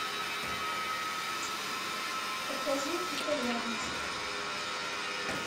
покажи итальянец